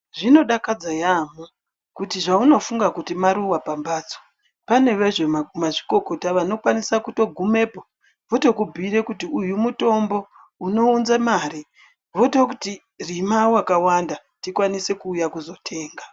Zvinodakadza yambo kuti zvaunofunga kuti maruwa pambatso pane vezvemazvikokota anokwanisa kutogumepo otokubhuira kuti uyu mutombo unounza mare vototi rima wakawanda tikwanise kuzouya kuzotenga.